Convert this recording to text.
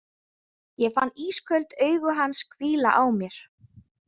Ég fann ísköld augu hans hvíla á mér.